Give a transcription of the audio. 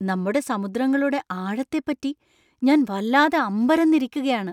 നമ്മുടെ സമുദ്രങ്ങളുടെ ആഴത്തെപ്പറ്റി ഞാൻ വല്ലാതെ അമ്പരന്നിരിക്കുകയാണ്!